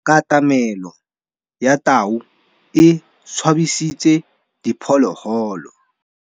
Katamêlô ya tau e tshabisitse diphôlôgôlô.